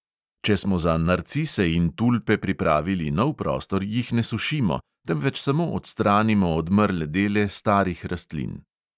Če smo za narcise in tulpe pripravili nov prostor, jih ne sušimo, temveč samo odstranimo odmrle dele starih rastlin.